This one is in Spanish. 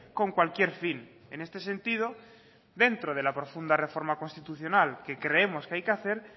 con cualquier fin en este sentido dentro de la profunda reforma constitucional que creemos que hay que hacer